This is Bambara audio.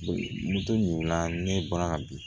Moto ɲininka ne bɔra bi